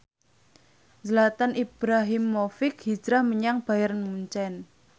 Zlatan Ibrahimovic hijrah menyang Bayern Munchen